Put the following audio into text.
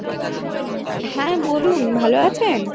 হ্যাঁ বলুন ভালো আছেন